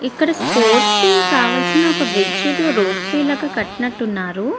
ఇక్కడ స్పోర్ట్స్ కి కావాల్సిన ఒక బ్రిడ్జ్ ఏదో రోప్ లాగా కట్టినట్టు ఉన్నారు.